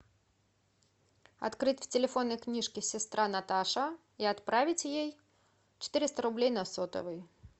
открыть в телефонной книжке сестра наташа и отправить ей четыреста рублей на сотовый